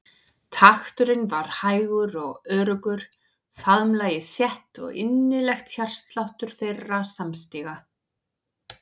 Takturinn var hægur og öruggur, faðmlagið þétt og innilegt hjartsláttur þeirra samstíga.